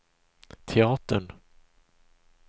teatern